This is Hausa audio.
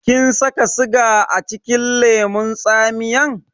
Kin saka siga acikin lemun tsamiyan?